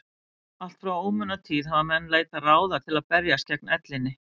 Allt frá ómunatíð hafa menn leitað ráða til að berjast gegn ellinni.